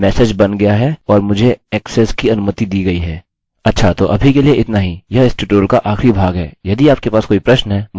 अच्छा तो अभी के लिए इतना ही यह इस ट्यूटोरियल का आखिरी भाग है यदि आपके पास कोई प्रश्न है मुझे मदद करने में खुशी होगी